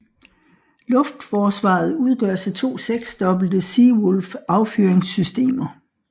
Luftforsvaret udgøres af to seksdobbelte Sea Wolf affyringssystemer